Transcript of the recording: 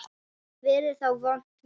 Verður þá vont veður?